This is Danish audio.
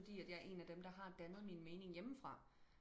fordi at jeg er en af dem der har dannet min mening hjemmefra